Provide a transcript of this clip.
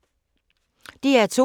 DR2